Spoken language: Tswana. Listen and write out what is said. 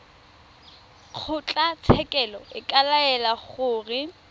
kgotlatshekelo e ka laela gore